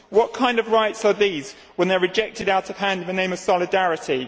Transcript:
What kind of rights are these, when they are rejected out of hand in the name of solidarity?